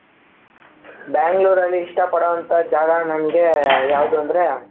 ಬೆಂಗಳೂರಲ್ಲಿ ಇಷ್ಟಪಡುವಂತಹ ಜಾಗ ನನಗೆ ಯಾವುದು ಅಂದ್ರೆ.